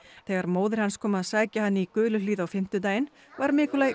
þegar móðir hans kom að sækja hann í Guluhlíð á fimmtudaginn var